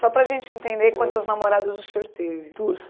Só para a gente entender quantas namoradas o senhor teve? Duas.